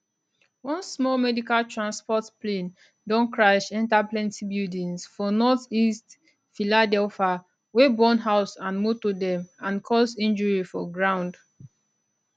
one small medical transport plane don crash enta plenti buildings for northeast philadelphia wey burn house and motor dem and cause injury for ground